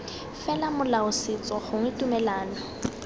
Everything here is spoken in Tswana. fela molao setso gongwe tumelano